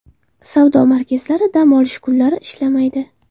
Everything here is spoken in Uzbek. Savdo markazlari dam olish kunlari ishlamaydi.